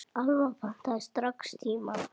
Alma pantaði strax tíma.